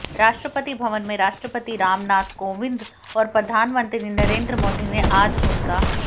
राष्ट्रपति भवन में राष्ट्रपति रामनाथ कोविंद और प्रधानमंत्री नरेंद्र मोदी ने आज उनका